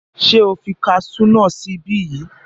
Ṣé o fi kasú náà sí ibí yìí?